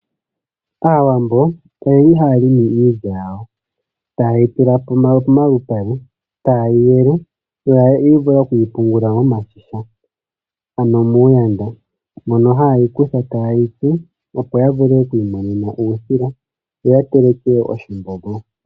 Aawambo oye li haya limi iilya yawo taye yi tula pomalupale, taye yi yele yo yi vule oku yi pungula momashisha ano miigandhi mono haye yi kutha taye yi tsu, opo ya vule oku imonena uusila yo ya teleke oshimbombo.